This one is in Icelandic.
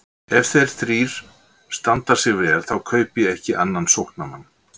Ef þeir þrír standa sig vel þá kaupi ég ekki annan sóknarmann.